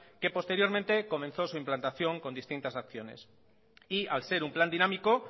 que posteriormente comenzó su implantación con distintas acciones y al ser un plan dinámico